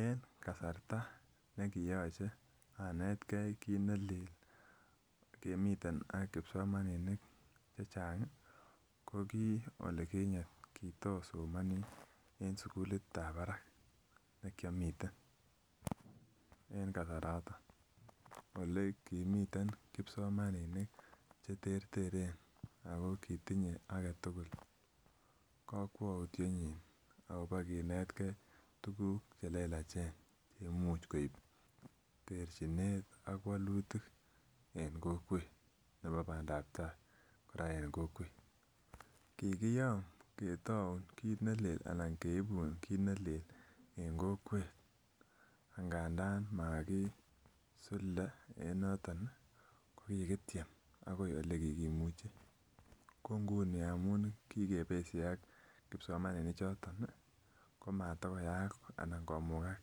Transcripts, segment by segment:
En kasarta nekiyoche anetgee kit nelel kemiten ak kipsomaninik chechang ih ko ki olikinyet kitosomoni en sugulit ab barak nekiomiten en kasaraton ole kimiten kipsomaninik cheterteren ako kitinye aketugul kokwoutietnyin akobo kinetgee tuguk chelelachen cheimuch koib terchinet ak wolutik en kokwet nebo bandaptaa kora en kokwet. Kikiyom ketoun kit nelel anan keibun kit nelel en kokwet ngandan makisulde en noton ih kokikityem akoi olekikimuchi ko nguni amun kikebesye ak kipsomaninik choton ih komatokoyaak anan komugak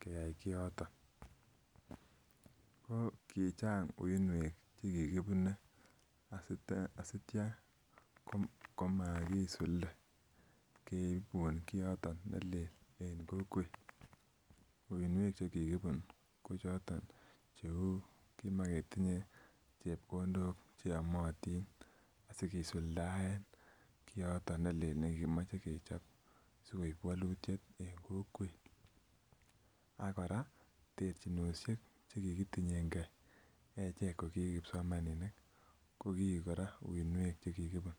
keyai kioton ako kichang uinwek chekikibune asitya komakisulde keibun kioton nelel en kokwet uinwek chekikibun kochoton cheu kimoketinye chepkondok cheyomotin asikisuldaen kioton nelel nekikimoche kechop sikoib wolutiet en kokwet ak kora terchinosiek chekikitinyengee echek koki kipsomaninik ko kiik kora uinwek chekikibun